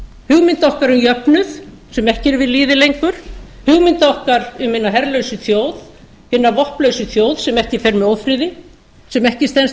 hugmynda okkar um jöfnuð sem ekki eru við lýði lengur hugmynda okkar um hina herlausu þjóð hina vopnlausu þjóð sem ekki fer með ófriði sem ekki stenst